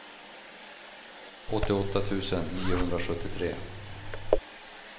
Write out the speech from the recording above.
åttioåtta tusen niohundrasjuttiotre